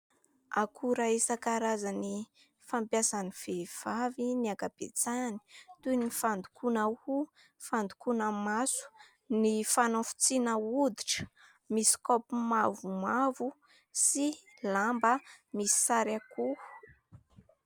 Akora isan-karazany fampiasan'ny vehivavy ny ankabetsahany toy ny fandokoana hoho, fandokoana maso, ny fanafotsiana hoditra, misy kaopy mavomavo sy lamba misy sary akoho.